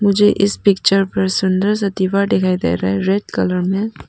मुझे इस पिक्चर पर सुंदर सा दीवार दिखाई दे रहा है रेड कलर में।